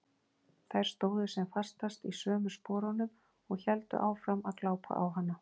Þær stóðu sem fastast í sömu sporunum og héldu áfram að glápa á hana.